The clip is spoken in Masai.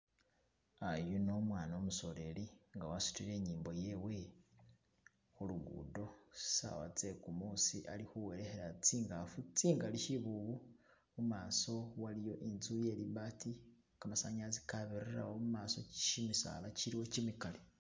Yuno umwana umusoleli nga wasudile inyimbo yewe khulugudo sawa zegumusi ali khuwelekhela tsingafu tsingali shibubu mumaso waliyo intsu ye libaati gamasanyalaze gabirilawo mumaso gyimisaala giliwo gimigali.